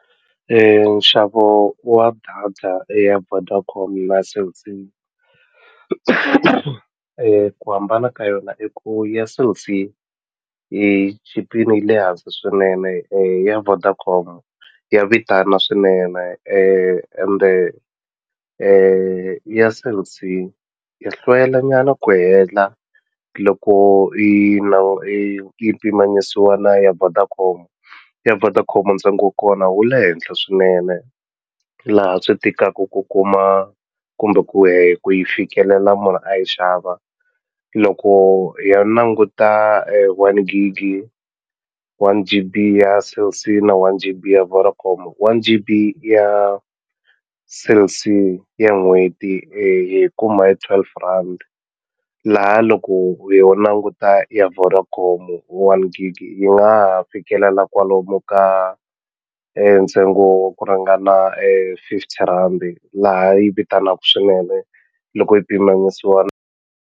Nxavo wa data ya Vodacom na Cell C ku hambana ka yona i ku ya Cell C yi chipile yi le hansi swinene ya Vodacom ya vitana swinene ende ya Cell C ya hlwela nyana ku hela loko yi yi yi pimanisiwa na ya Vodacom ya Vodacom ntsengo wa kona wu le henhla swinene laha swi tikaka ku kuma kumbe yi ku yi fikelela munhu a yi xava loko hi ya languta one gig one-G_B ya Cell C na one-G_B ya Vodacom one-G_B ya Cell C ya n'hweti hiyi kuma hi twelve rand laha loko yo languta ya Vodacom one-G_B yi nga ha fikelela kwalomu ka ntsengo wa ku ringana fifty rand laha yi vitanaku swinene loko yi pimanisiwa .